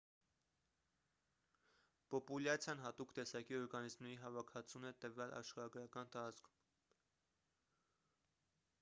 պոպուլյացիան հատուկ տեսակի օրգանիզմների հավաքածուն է տվյալ աշխարհագրական տարածքում